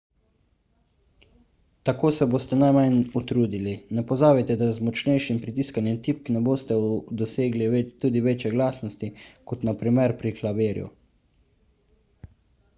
tako se boste najmanj utrudili ne pozabite da z močnejšim pritiskanjem tipk ne boste dosegli tudi večje glasnosti kot na primer pri klavirju